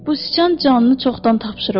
Bu sıçan canını çoxdan tapşırıb.